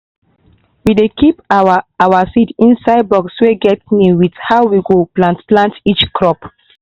we dey keep our our seed inside box wey get name with how we go plant plant each crop.